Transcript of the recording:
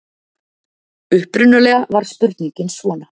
Upprunalega var spurningin svona: